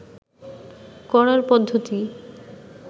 করার পদ্ধতি